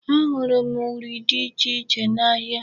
Ahụrụ m uri dị ichè iche n'ahịa.